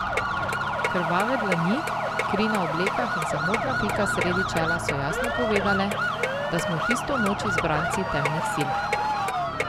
Krvave dlani, kri na oblekah in samotna pika sredi čela so jasno povedale, da smo tisto noč izbranci temnih sil.